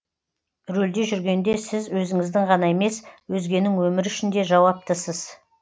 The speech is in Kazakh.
рөлде жүргенде сіз өзіңіздің ғана емес өзгенің өмірі үшін де жауаптысыз